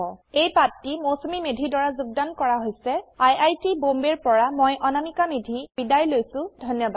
এই পাঠটি মৌচুমী মেধীৰ দ্ৱাৰা যোগদান কৰ হৈছে আই আই টী বম্বে ৰ পৰা মই অনামিকা মেধী এতিয়া আপুনাৰ পৰা বিদায় লৈছো যোগদানৰ বাবে ধন্যবাদ